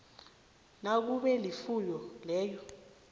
nakube ilifu leyo